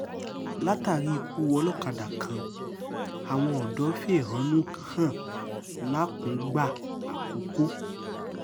látàrí ikú olókàdá kan àwọn odò fẹ̀hónú hàn làkùngbà àkọ́kọ́